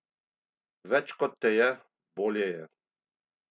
Več kot te je, bolje je!